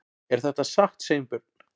Er þetta satt, Sveinbjörn?